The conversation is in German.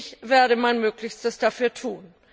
Ich werde mein Möglichstes dafür tun.